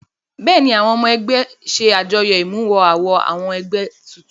Bẹ́ẹ̀ ni àwọn ọmọ ẹgbẹ́ ṣe àjọyọ̀ ìmúmọ-awọ àwọn ẹgbẹ́ tuntun.